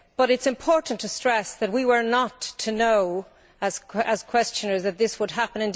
It is important to stress that we were not to know, as questioners, that this would happen.